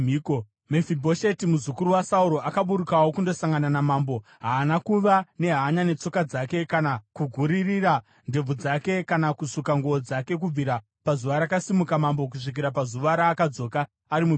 Mefibhosheti muzukuru waSauro, akaburukawo kundosangana namambo. Haana kuva nehanya netsoka dzake kana kuguririra ndebvu dzake kana kusuka nguo dzake kubvira pazuva rakasimuka mambo kusvikira pazuva raakadzoka ari mupenyu.